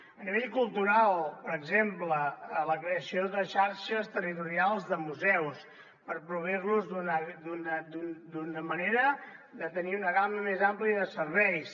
a nivell cultural per exemple la creació de xarxes territorials de museus per proveir los d’una manera de tenir una gamma més àmplia de serveis